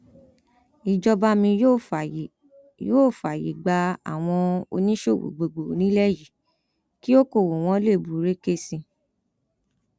ìjọba mi yóò fààyè yóò fààyè gba àwọn oníṣòwò gbogbo nílẹ yìí kí ọkọọwọ wọn lè búrẹkẹ sí i